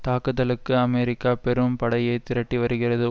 தாக்குதலுக்கு அமெரிக்கா பெரும் படையை திரட்டி வருகிறது